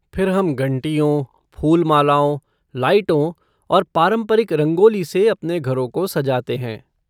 फिर हम घंटियों, फूल मालाओं, लाइटों और पारंपरिक रंगोली से अपने घरों को सजाते हैं।